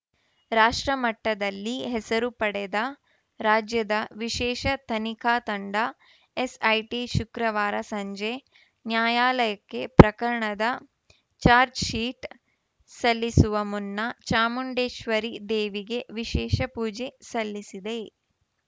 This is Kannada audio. ರಾಷ್ಟ್ರ ಮಟ್ಟದಲ್ಲಿ ಹೆಸರು ಪಡೆದ ರಾಜ್ಯದ ವಿಶೇಷ ತನಿಖಾ ತಂಡ ಎಸ್‌ಐಟಿ ಶುಕ್ರವಾರ ಸಂಜೆ ನ್ಯಾಯಾಲಯಕ್ಕೆ ಪ್ರಕರಣದ ಚಾರ್ಜ್ ಶೀಟ್ ಸಲ್ಲಿಸುವ ಮುನ್ನ ಚಾಮುಂಡೇಶ್ವರಿ ದೇವಿಗೆ ವಿಶೇಷ ಪೂಜೆ ಸಲ್ಲಿಸಿದೆ